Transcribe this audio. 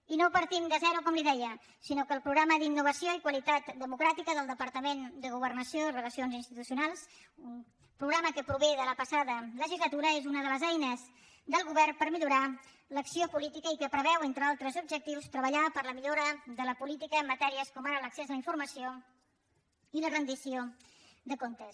i no partim de zero com li deia sinó que el programa d’innovació i qualitat democràtica del departament de governació i relacions institucionals un programa que prové de la passada legislatura és una de les eines del govern per millorar l’acció política i que preveu entre altres objectius treballar per a la millora de la política en matèries com ara l’accés a la informació i la rendició de comptes